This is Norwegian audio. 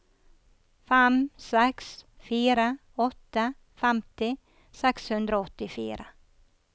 fem seks fire åtte femti seks hundre og åttifire